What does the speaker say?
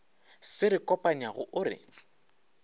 se re kopanyago o re